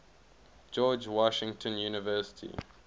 george washington university